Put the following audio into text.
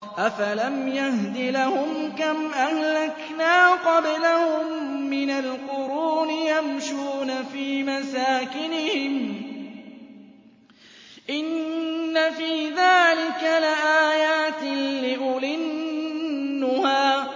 أَفَلَمْ يَهْدِ لَهُمْ كَمْ أَهْلَكْنَا قَبْلَهُم مِّنَ الْقُرُونِ يَمْشُونَ فِي مَسَاكِنِهِمْ ۗ إِنَّ فِي ذَٰلِكَ لَآيَاتٍ لِّأُولِي النُّهَىٰ